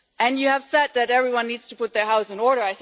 You have said that everyone needs to put their house in order.